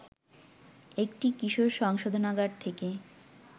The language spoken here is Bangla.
একটি কিশোর সংশোধনাগার থেকে